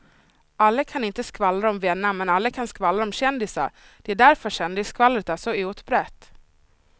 Alla kan inte skvallra om vänner men alla kan skvallra om kändisar, det är därför kändisskvallret är så utbrett.